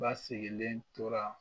Ba sigilen tora.